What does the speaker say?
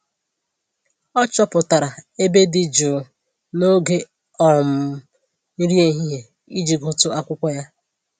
Ọ chọpụtara ebe dị jụụ n'oge um nri ehihie iji gụtụ akwụkwọ ya